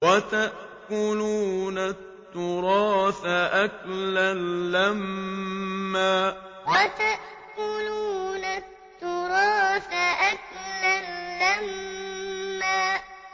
وَتَأْكُلُونَ التُّرَاثَ أَكْلًا لَّمًّا وَتَأْكُلُونَ التُّرَاثَ أَكْلًا لَّمًّا